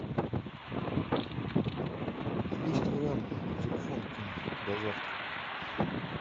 есть вариант на телефон кинуть до завтра